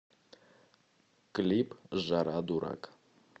клип жара дурак